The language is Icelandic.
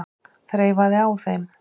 Þreifaði á þeim.